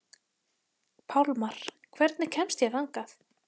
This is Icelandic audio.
Pálmar, hvernig kemst ég þangað?